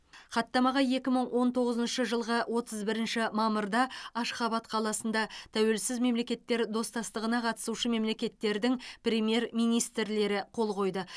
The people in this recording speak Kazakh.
хаттамаға екі мың он тоғызыншы жылғы отыз бірінші мамырда ашхабад қаласында тәуелсіз мемлекеттер достастығына қатысушы мемлекеттердің премьер министрлері қол қойды